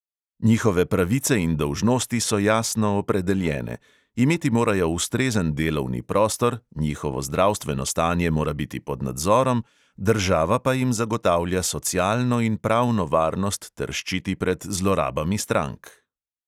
Njihove pravice in dolžnosti so jasno opredeljene, imeti morajo ustrezen delovni prostor, njihovo zdravstveno stanje mora biti pod nadzorom, država pa jim zagotavlja socialno in pravno varnost ter ščiti pred zlorabami strank.